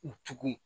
U tugun